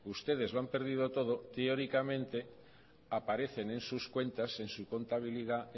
ustedes lo han perdido todo teóricamente aparecen en sus cuentas en su contabilidad